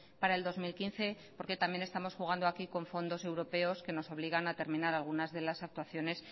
para el dos mil quince porque también estamos jugando aquí con fondos europeos que nos obligan a terminar algunas de las actuaciones